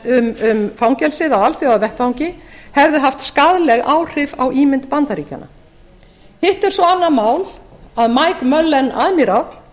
um fangelsið á alþjóðavettvangi hefðu haft skaðleg áhrif á ímynd bandaríkjanna hitt er svo annað mál að mike mullen aðmíráll hlaut að